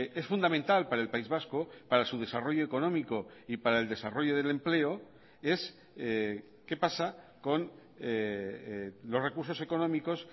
es fundamental para el país vasco para su desarrollo económico y para el desarrollo del empleo es qué pasa con los recursos económicos